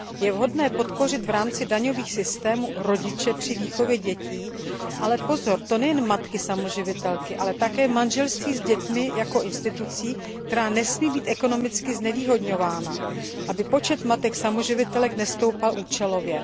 Je vhodné podpořit v rámci daňových systémů rodiče při výchově dětí, ale pozor, nejen matky samoživitelky, ale také manželství s dětmi jako instituci, která nesmí být ekonomicky znevýhodňována, aby počet matek samoživitelek nestoupal účelově.